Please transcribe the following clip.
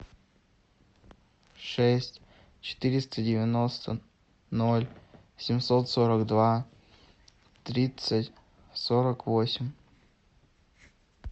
шесть четыреста девяносто ноль семьсот сорок два тридцать сорок восемь